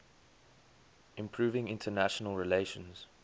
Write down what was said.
improving international relations